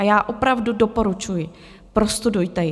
A já opravdu doporučuji, prostudujte ji.